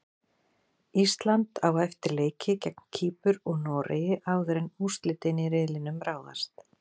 Ísland á eftir leiki gegn Kýpur og Noregi áður en úrslitin í riðlinum ráðast.